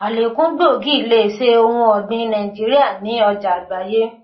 àlékún gbòógì lè ṣe ohun ọ̀gbìn nàìjíríà ní ọjà àgbáyé.